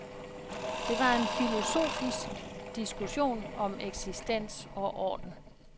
Det var en filosofisk diskussion om eksistens og orden.